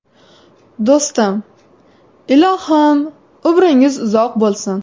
Do‘stim, ilohim, umringiz uzoq bo‘lsin!